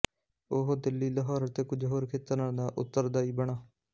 ਉਹ ਦਿੱਲੀ ਲਾਹੌਰ ਅਤੇ ਕੁੱਝ ਹੋਰ ਖੇਤਰਾਂ ਦਾ ਉੱਤਰਦਾਈ ਬਣਾ